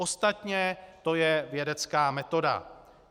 Ostatně to je vědecká metoda.